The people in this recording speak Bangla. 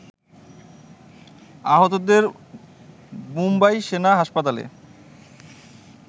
আহতদের মুম্বাই সেনা হাসপাতালে